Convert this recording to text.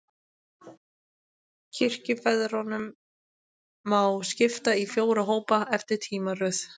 Kirkjufeðrunum má skipta í fjóra hópa, eftir tímaröð.